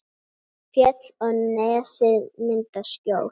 Fjöll og nesið mynda skjól.